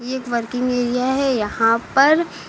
ये एक working area है यहां पर--